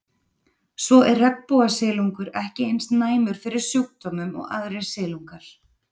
Svo er regnbogasilungur ekki eins næmur fyrir sjúkdómum og aðrir silungar.